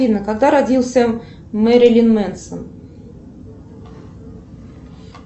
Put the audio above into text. афина когда родился мэрилин мэнсон